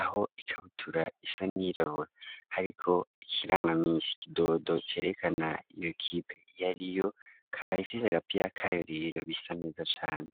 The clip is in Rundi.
aho ikabutura isa n'irabora, ariko ikirangamisha ikidodo cereka na iyo kipe iyo ariyo kahayifise agapiya akayoriro bisa neza cane.